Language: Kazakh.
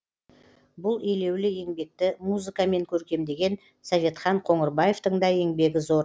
бұл елеулі еңбекті музыкамен көркемдеген советхан қоңырбаевтың да еңбегі зор